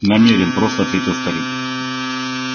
намерен просто ответил старик